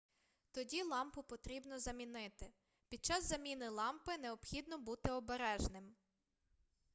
тоді лампу потрібно замінити під час заміни лампи необхідно бути обережним